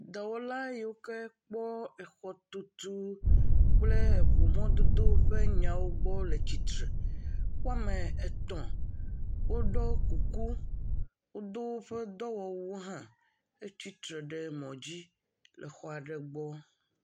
Dɔwɔla yi ke wokpɔa xɔtutu kple ŋumɔdodo ƒe nyawo gbɔ le tsitre. Wo ame etɔ̃ woɖo kuku. Wodo woƒe dɔwɔwuwo hã hetsi tre ɖe mɔ dzi le xɔ aɖe gbɔ.